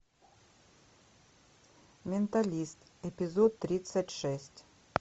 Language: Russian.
менталист эпизод тридцать шесть